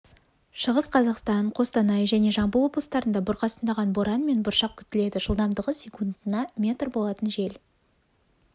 шығыс қазақстан қостанай және жамбыл облыстарында бұрқасындаған боран мен бұршақ күтіледі жылдамдығы секундына метр болатын жел